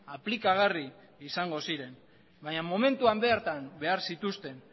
aplikagarri izango ziren baina momentuan bertan behar zituzten